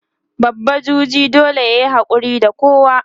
babba juji dole yayi hakuri da kowa